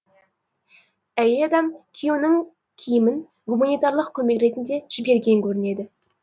әйел адам күйеуінің киімін гуманитарлық көмек ретінде жіберген көрінеді